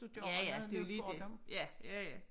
At gøre noget nu for dem